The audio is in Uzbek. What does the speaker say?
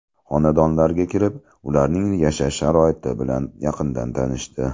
Xonadonlarga kirib, ularning yashash sharoiti bilan yaqindan tanishdi.